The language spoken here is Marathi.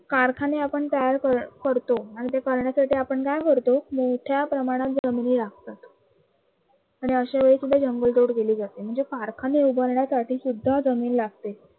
कारखाने आपण तयार करतो आणि ते करण्यासाठी आपण काय करतो कि आणि अशा वेळी सुद्धा जंगल तोड केली जाते, म्हणजे कारखाने उभारण्यासाठी सुद्धा जमीन लागते.